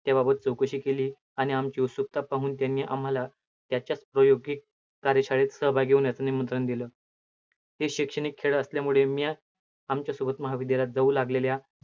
त्याबाबत चौकशी केली आणि आमची उत्सुकता पाहून त्यांनी आम्हाला त्याच्या प्रयोगी कार्यशाळेत सहभागी होण्याचं निमंत्रण दिलं. हे शैक्षणिक खेळ असल्यामुळे मी आमच्यासोबत महाविद्यालयात जाऊ लागलेल्या